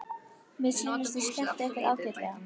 Mér sýnist þið skemmta ykkur ágætlega.